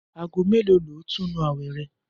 Aago mélòó lo óò túnu àwè̩ re̩?